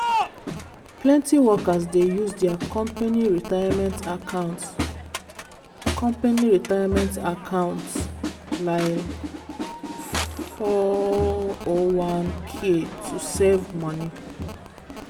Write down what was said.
plenty workers dey use their company retirement accounts company retirement accounts lile four o one k to save money.